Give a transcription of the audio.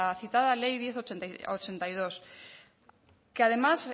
citada ley diez barra ochenta y dos que además